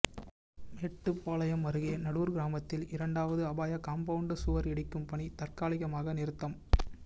மேட்டுப்பாளையம் அருகே நடூர் கிராமத்தில் இரண்டாவது அபாய காம்பவுண்ட் சுவர் இடிக்கும் பணி தற்காலிகமாக நிறுத்தம்